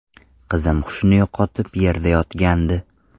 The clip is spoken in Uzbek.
Qizim hushini yo‘qotib, yerda yotgandi.